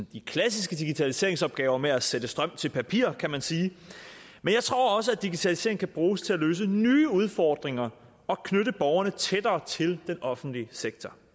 de klassiske digitaliseringsopgaver med at sætte strøm til papir kan man sige men jeg tror også at digitalisering kan bruges til at løse nye udfordringer og knytte borgerne tættere til den offentlige sektor